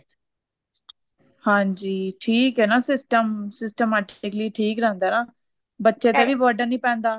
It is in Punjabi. ਹਾਂਜੀ ਠੀਕ ਐ ਨਾ system systematically ਠੀਕ ਰਹਿੰਦਾ ਨਾ ਬੱਚੇ ਤੇ ਵੀ burden ਨਹੀਂ ਪੈਂਦਾ